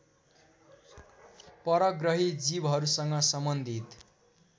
परग्रही जीवहरूसँग सम्बन्धित